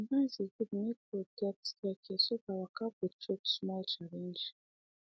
sometimes e good make road get staircase so the waka go choke small challenge